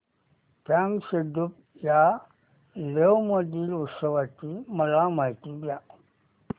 फ्यांग सेडुप या लेह मधील उत्सवाची मला माहिती द्या